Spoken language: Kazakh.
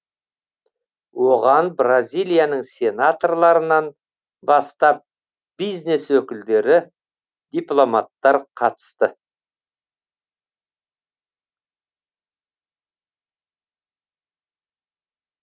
оған бразилияның сенаторларынан бастап бизнес өкілдері дипломаттар қатысты